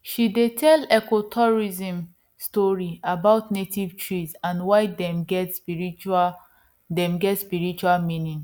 she dey tell ecotourism stories about native trees and why dem get spiritual dem get spiritual meaning